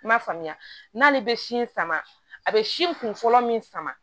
I m'a faamuya n'ale bɛ si in sama a bɛ sin kun fɔlɔ min sama